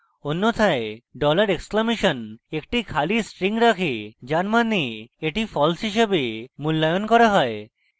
অন্যথায় dollar exclamation $! একটি খালি string রাখে যার means that false হিসেবে মূল্যায়ন করা হয়